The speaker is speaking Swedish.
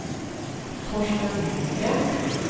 Torsten Hellgren